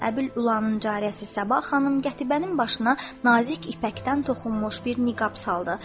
Əbül-Ülanın cariyəsi Sabah xanım qətibənin başına nazik ipəkdən toxunmuş bir niqab saldı.